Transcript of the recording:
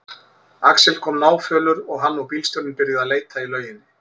Axel kom náfölur og hann og bílstjórinn byrjuðu að leita í lauginni.